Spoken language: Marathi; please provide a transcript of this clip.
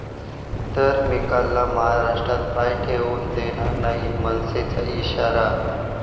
...तर मिकाला महाराष्ट्रात पाय ठेवू देणार नाही, मनसेचा इशारा